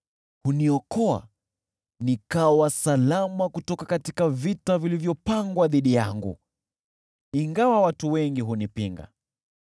Huniokoa nikawa salama katika vita vilivyopangwa dhidi yangu, ingawa watu wengi hunipinga.